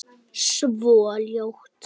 Svo ljótt.